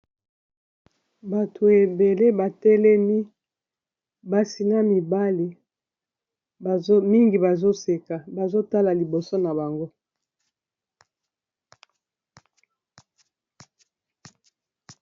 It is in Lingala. Bato ebele, ba telemi. Basi na mibali. Mingi bazo seka, bazo tala liboso na bango.